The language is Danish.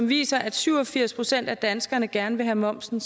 viser at syv og firs procent af danskerne gerne vil have momsen